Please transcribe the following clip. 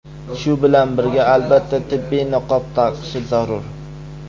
Shu bilan birga, albatta, tibbiy niqob taqishi zarur.